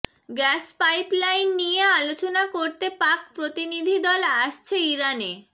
gas pipeline নিয়ে আলোচনা করতে পাক প্রতিনিধিদল আসছে ইরানে